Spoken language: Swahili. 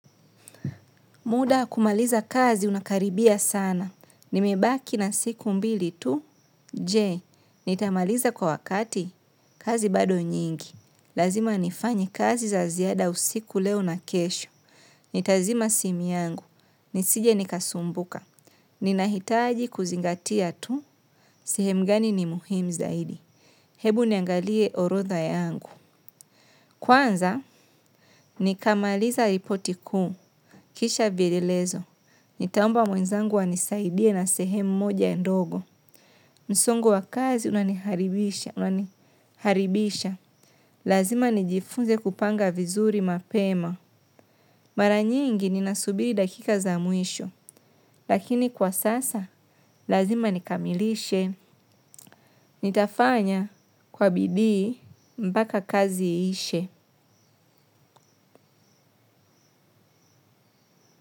Muda kumaliza kazi unakaribia sana. Nimebaki na siku mbili tu. Je, nitamaliza kwa wakati. Kazi bado nyingi. Lazima nifanye kazi za ziada usiku leo na kesho. Nitazima simu yangu. Nisije nikasumbuka ninaitaji kuzingatia tu sehemu gani ni muhimu zaidi. Hebu niangalie orodha yangu. Kwanza, nikamaliza ripoti kuu. Kisha vilelezo. Nitaomba mwenzangu anisaidie na sehemu moja endogo. Msongo wa kazi unaniharibisha. Lazima nijifunze kupanga vizuri mapema. Maranyingi ni nasubiri dakika za mwisho. Lakini kwa sasa, lazima nikamilishe. Nitafanya kwa bidii mbaka kazi ishe.